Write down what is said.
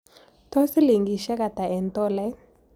Tos' silingisyek ata eng' tolait